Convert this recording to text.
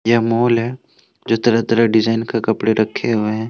यह मॉल है जो तरह तरह के डिजाइन के कपड़े रखे हुए हैं।